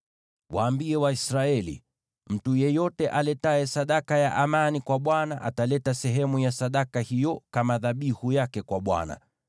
“Waambie Waisraeli: ‘Mtu yeyote aletaye sadaka ya amani kwa Bwana ataleta sehemu ya sadaka hiyo kama dhabihu yake kwa Bwana .